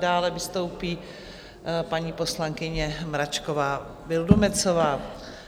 Dále vystoupí paní poslankyně Mračková Vildumetzová.